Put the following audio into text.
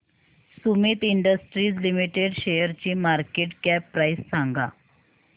Sumeet industries limited शेअरची market cap price सांगा